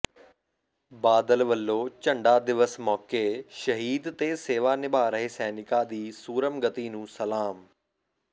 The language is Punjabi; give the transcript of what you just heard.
ਬਾਦਲ ਵਲੋਂ ਝੰਡਾ ਦਿਵਸ ਮੌਕੇ ਸ਼ਹੀਦ ਤੇ ਸੇਵਾ ਨਿਭਾ ਰਹੇ ਸੈਨਿਕਾਂ ਦੀ ਸੂਰਮਗਤੀ ਨੂੰ ਸਲਾਮ